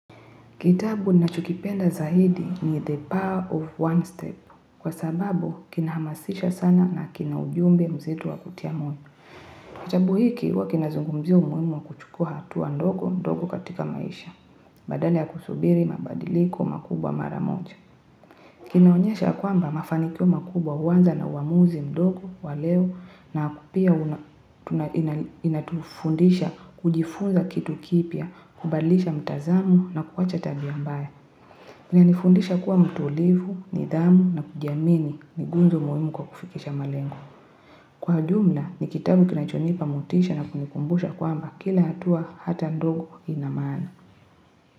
Kitabu nachokipenda zaidi ni the power of one step kwa sababu kinahamasisha sana na kina ujumbe mzito wa kutia moyo. Kitabu hiki huwa kinazungumzia umuhimu wa kuchukua hatua ndogo mdogo katika maisha. Badala ya kusubiri mabadiliko makubwa mara moja. Kinaonyesha kwamba mafanikio makubwa huanza na uamuzi mdogo wa leo na pia inatufundisha kujifunza kitu kipya kubadlisha mtazamo na kuacha tabia mbaya kinanifundisha kuwa mtulivu, nidhamu na kujiamini ni nguzo muhimu kwa kufikisha malengo kwa jumla, ni kitabu kinachonipa motisha na kunikumbusha kwamba kila hatua hata ndogo ina maana.